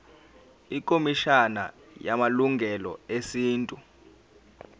ikhomishana yamalungelo esintu